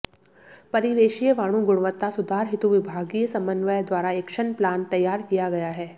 परिवेशीय वायु गुणवत्ता सुधार हेतु विभागीय समन्वय द्वारा एक्शन प्लान तैयार किया गया है